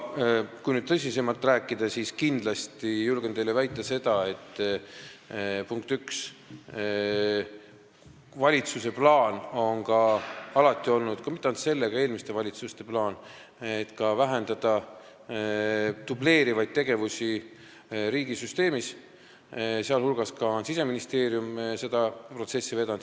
Kui nüüd tõsisemalt rääkida, siis kindlasti julgen teile väita seda, et valitsuse plaan on alati olnud – ja mitte ainult selle valitsuse, vaid ka eelmiste valitsuste plaan – vähendada dubleerivaid tegevusi riigisüsteemis, sh on Siseministeerium seda protsessi vedanud.